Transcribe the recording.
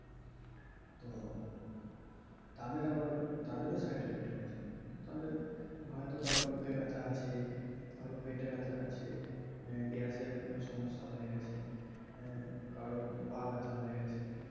তো তাদের আবার side effect হয়েছে তাদের হয়তো কারো বুকে ব্যথা আছে কারো পেটে ব্যথা আছে গ্যাসের সমস্যা হয়ে গেছে কারো পা ব্যাথা হয়ে গেছে